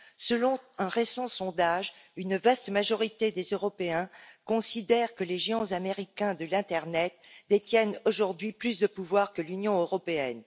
Selon un récent sondage, une vaste majorité des Européens considèrent que les géants américains de l'internet détiennent aujourd'hui plus de pouvoir que l'Union européenne.